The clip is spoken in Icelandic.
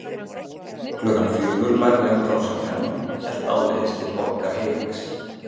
Klukkan fjögur lagði hann frá sér pennann og hélt áleiðis til Borgar Heilags